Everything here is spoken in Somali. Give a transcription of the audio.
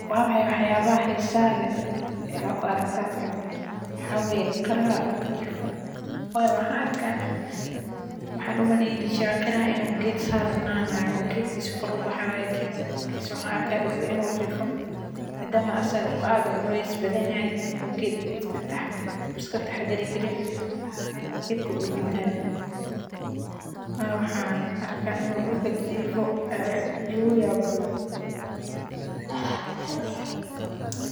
Waa maxay waxyaabaha xiisaha leh ee aad ku aragto halkan, waxaa weye qiraha durka jifo, wayo waxan arka waxan u maleyni jire qiraha in u geed sar nani jire oo geedkasa kor u ubaxaya wayo maxaa an arka in u geedkisa dulka jifo, madama asaga u aad u cules badan yahay u geedka iska taxadari karin, oo geedka u jawinayo, wayo waxan arka in u dulka jifo ee egu yabka badan.